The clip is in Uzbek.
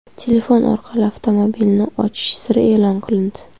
Telefon orqali avtomobilni ochish siri e’lon qilindi.